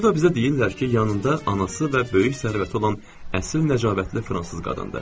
Burda bizə deyirlər ki, yanında anası və böyük sərvəti olan əsil nəcabətli fransız qadındır.